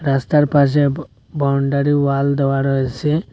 রাস্তার পাশে বা বাউন্ডারি ওয়াল দেওয়া রয়েসে।